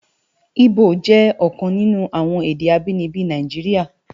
Ibó jè òkan ninú awòn èdè ábìníbi Náijiriá